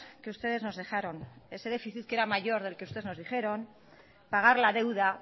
que ustedes nos dejaron ese déficit que era mayor del que ustedes nos dijeron pagar la deuda